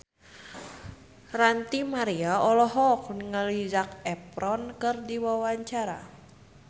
Ranty Maria olohok ningali Zac Efron keur diwawancara